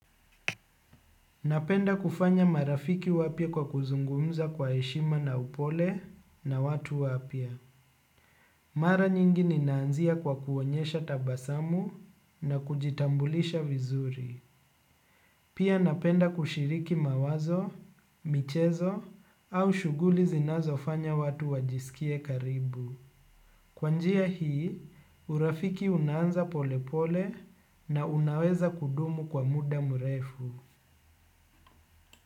Napenda kufanya. Marafiki wapya kwa kuzungumza kwa heshima na upole na watu wapya. Mara nyingi ninaanzia kwa kuonyesha tabasamu na kujitambulisha vizuri. Pia napenda kushiriki mawazo, michezo au shuguli zinazofanya watu wajisikie karibu. Kwa njia hii, urafiki unaanza pole pole na unaweza kudumu kwa muda mrefu.